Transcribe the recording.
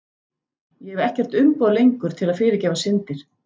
Ég hef ekkert umboð lengur til að fyrirgefa syndir.